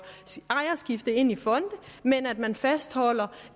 ejerskifte ind i fonde men man fastholder